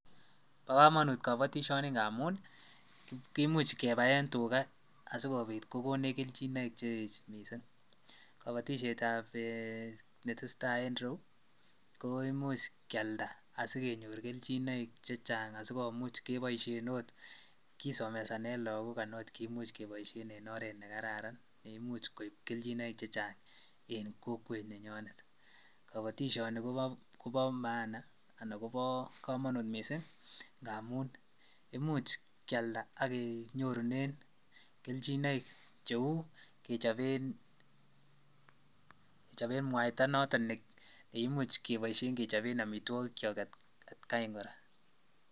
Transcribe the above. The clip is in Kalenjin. Bokomonut kobotishoni ng'amun kimuch kebaen tukaa asikobit kokonech kelchinoik cheech mising, kobotishetab netesetai en ireyu ko imuch kialda asikenyor kelchinoik chechang asikomuch keboishen oot kisomesanen lokok anan oot kimuch keboishen en oreet nekararan neimuch koib kelchinoik chechang en kokwet nenyonet, kobotishoni kobo maana anan kobo komonut mising ng'amun imuch kialda ak konyorunen kelchinoik cheuu kechoben mwaita noton nekimuch keboishen kechoben amitwokikyok atkai kora.